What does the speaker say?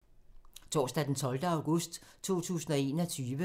Torsdag d. 12. august 2021